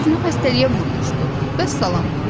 "Üzünü xəstəliyə vurmuşdu, vəssalam."